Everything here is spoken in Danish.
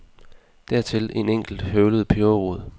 Dertil en enkelt høvlet peberrod.